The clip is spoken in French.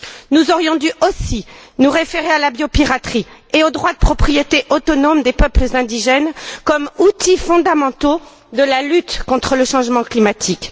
Nous aurions dû aussi nous référer à la biopiraterie et au droit de propriété autonome des peuples indigènes comme outils fondamentaux de la lutte contre le changement climatique.